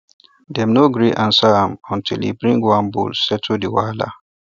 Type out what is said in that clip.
dem no gree answer am until e bring one bull settle the wahala